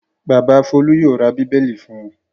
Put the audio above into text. Bàbá Folú yóò ra Bíbélì fún un.